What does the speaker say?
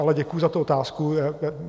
Ale děkuji za tu otázku.